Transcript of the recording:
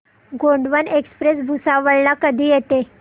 Gondwana express Bhusawal ला कधी येते